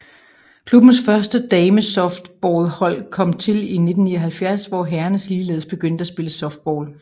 Klubbens første damesoftballhold kom til i 1979 hvor herrerne ligeledes begyndte at spille softball